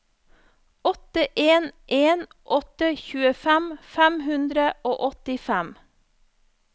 åtte en en åtte tjuefem fem hundre og åttifem